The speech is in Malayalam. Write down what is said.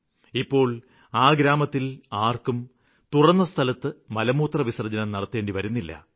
ഇപ്പോള് ആ ഗ്രാമത്തില് ആര്ക്കും തുറന്ന സ്ഥലത്ത് മലമൂത്രവിസര്ജ്ജനം നടത്തേണ്ടിവരുന്നില്ല